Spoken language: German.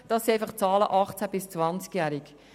Dies sind Zahlen zu den 18- bis 20-Jährigen.